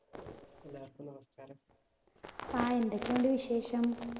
ആ എന്തൊക്കെയുണ്ട് വിശേഷം?